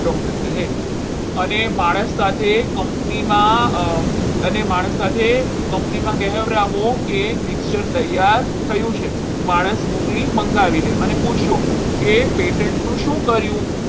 doctor કહે અને માણસ સાથે company માં અને માણસ સાથે company માં કહેવડાવો કે mixture તૈયાર થયું છે માણસ મોકલી અને મંગાવી લે અને પૂછજો કે patient નું શું કર્યું?